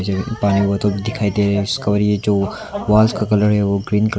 ये पानी बोतल जो दिखाई दे रहे उसका और ये जो वाल्स का कलर है वो ग्रीन कलर --